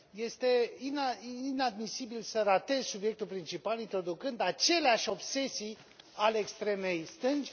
Este inadmisibil să ratezi subiectul principal introducând aceleași obsesii ale extremei stângi.